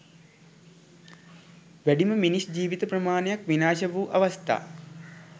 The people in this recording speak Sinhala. වැඩිම මිනිස් ජීවිත ප්‍රමාණයක් විනාශ වූ අවස්ථා